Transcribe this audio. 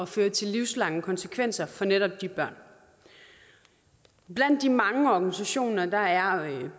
føre til livslange konsekvenser for netop de børn blandt de mange organisationer er